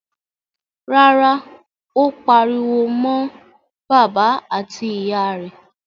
Rárá, ó pariwo mọ́ bàbá àti ìyà rẹ̀.